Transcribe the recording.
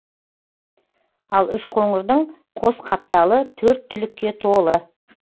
ал үшқоңырдың қос қапталы төрт түлікке толы